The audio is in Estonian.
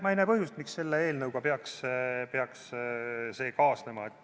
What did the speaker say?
Ma ei näe põhjust, miks selle eelnõuga peaks see kaasnema.